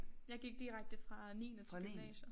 Jeg gik direkte fra niende til gymnasium